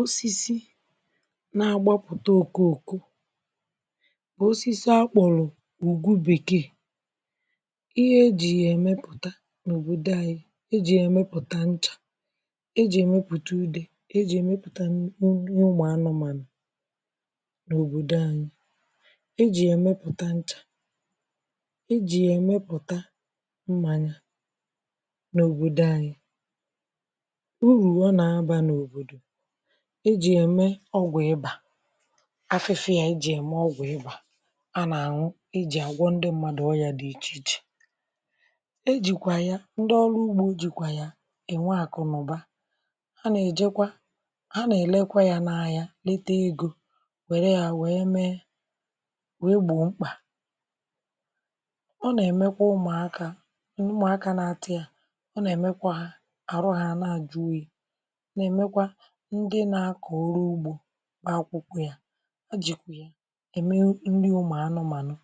Osisi na-agbapụ̀tà oko okò osisi akpọ̀rọ̀ ugwù bèkè ihe e jì yà emèputà n’òbodò anyị̀ e jì yà emèputà nchà e jì yà emèputà udè e jì yà emèputà nnì ụmụ̀ anụ̀mànụ̀ n’òbodò anyị̀ e jì yà emèputà nchà e jì yà emèputà mmanyà n’òbodò anyị̀ urù ọ na-abà n’òbodò e jì yà emè ọgwụ̀ ibà afị̀fịà, e jì yà emè ọgwụ̀ ibà a na-an̄ụ̀ e jì agwọ̀ ndị̀ mmadụ̀ ọyà dị iche ichè e jìkwà yà ndị̀ ọlụ̀ ugbò jìkwà yà e nwè akụ̀ nà ụbà a na-ejekwà a na-elèkwà yà n’ahịà letè egō wee yà wee mee yà n’ukwà ọ na-emèkwà ụmụ̀akà mà ụmụ̀aka na-atà yà ọ na-emèkwà hà arụ̀ hà na-ejù oyiì na-emèkwà ndị̀ na-akọ̀ ọrụ̀ ugbò akwụ̀kwọ̀ yà e jì emè nrì ụmụ̀ anụ̀màanụ̀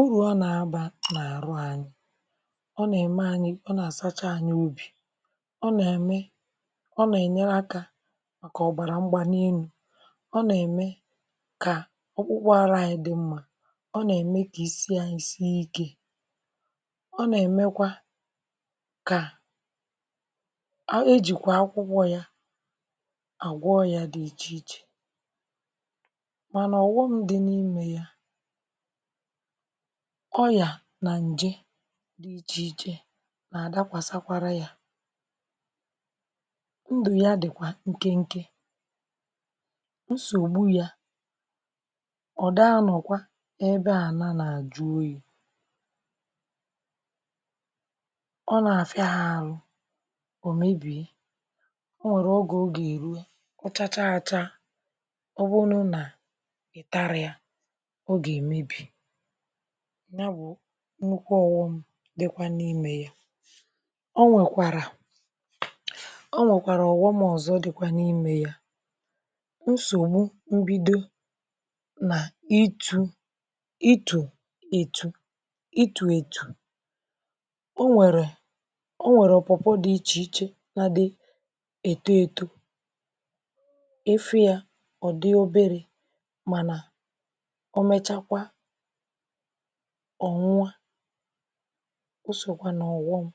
urù ọ na-abà n’arụ̀ anyị̀ ọ na-emè anyị̀. Ọ na-asachà anyị̀ obì ọ na-emè ọ na-enyè aka kà ọbarà ṃgbanì enù ọ na-emè kà ọkpụkpụ̀ arụ̀ anyị̀ dị̀ mmà ọ na-emè kà isi anyị̀ siè ike ọ na-emèkwà kà a e jikwà akwụ̀kwọ̀ yà agwọ̀ ọyà dị̀ iche ichè mànà ọghọm dị̀ n’imè yà ọyà nà njè dị̀ ikè na-adàkwàsakwarà yà ndụ̀ yà dịkwà nke nke nsogbù yà ọ daa anọ̀kwà ebe ànà na-ejù oyiì ọ na-afịà arụ̀ o mebiè o nwerè ogè ọ gà eruò ọ chachà achà ọ bụṇ̀ nà taarì yà ọ ga-emebì nyà bụ̀ nnukwù ọghọm dịkwà n’imè o nwekwarà o nwèkwarà ōghōm ọzọ̀ dị̀kwà n’imè yà nsogbu mbìdo nà itù itù etù itù etù o nwerè o nwerè pawpaw dị̀ iche ichè na-adị̀ eto etò ị fụ̀ yà ọ dị̀ oberè mànà o mechakwà ọnwụ à o sòkwà nà ọghọm